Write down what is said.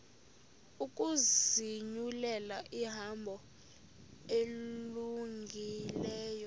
ukuzinyulela ihambo elungileyo